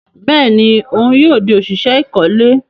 Bẹẹni òun yóò di oṣiṣẹ ikole